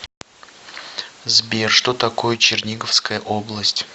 сбер что такое черниговская область